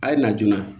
A ye na joona